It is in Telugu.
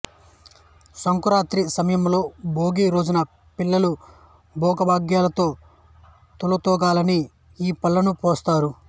సంక్రాంతి సమయంలో భోగి రోజున పిల్లలు భోగభాగ్యాలతో తులతూగాలని ఈ పండ్లను పోస్తారు